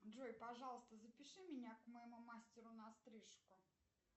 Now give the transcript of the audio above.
джой пожалуйста запиши меня к моему мастеру на стрижку